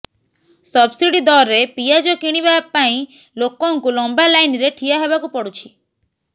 subsidy ଦରରେ ପିଆଜ କିଣିବା ପାଇଁ ଲୋକଙ୍କୁ ଲମ୍ବା ଲାଇନରେ ଠିଆ ହେବାକୁ ପଡ଼ୁଛି